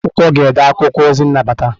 Ndị na ede akwụkwọ ga-ede akwụkwọ ozi nnabata.